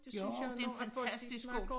Jo det en fantastisk skole